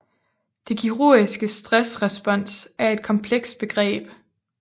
Det kirurgiske stressrespons er et komplekst begreb